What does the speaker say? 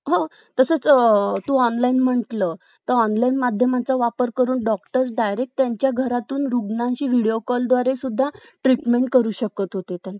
बरोबर बरोबर बघा आता कस आहे mobile च आधी two g launch झाला ठीक ए मग two g नंतर three g launch झाला व four g आला आता five g आला त आता